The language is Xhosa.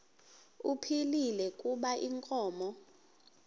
ephilile kuba inkomo